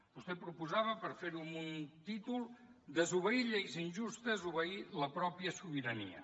vostè proposava per fer ho amb un títol desobeir lleis injustes obeir la pròpia sobirania